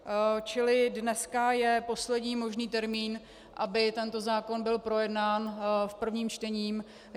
Čili dneska je poslední možný termín, aby tento zákon byl projednán v prvním čtení.